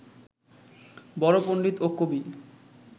বড় পণ্ডিত ও কবি